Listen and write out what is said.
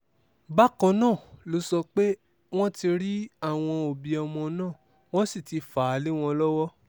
bákan náà ló sọ pé wọ́n ti rí àwọn òbí ọmọ náà wọ́n sì ti fà á lé wọn lọ́wọ́